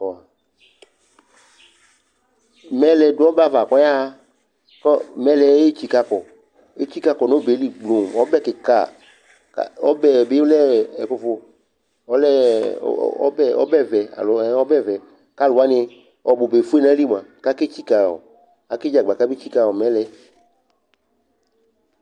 Bɔ mɛlɛ dʋ ɔbɛ ava kʋ ɔyaɣa kʋ mɛlɛ yɛ etsikǝ kɔ, etsikǝ kɔ nʋ ɔbɛ yɛ li gblo Ɔbɛ kɩka, ka ɔbɛ yɛ bɩ lɛ ɛ ɛkʋfʋ, ɔlɛ ɛ ɔ ɔbɛ ɔbɛvɛ alo ɛ ɔbɛvɛ kʋ alʋ wanɩ ɔbʋ ba efue nʋ ayili bʋa kʋ aketsikǝ ɔ akedzagba kabetsikǝ ɔ mɛlɛ yɛ